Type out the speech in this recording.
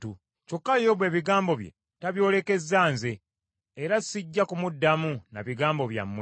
Kyokka Yobu ebigambo bye tabyolekezza nze, era sijja kumuddamu na bigambo byammwe.